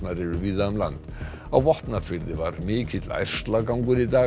eru víða um land á Vopnafirði var mikill ærslagangur í dag